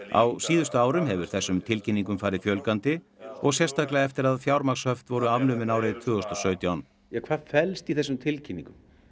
á síðustu árum hefur þessum tilkynningum farið fjölgandi og sérstaklega eftir að fjármagnshöft voru afnumin árið tvö þúsund og sautján hvað felst í þessum tilkynningum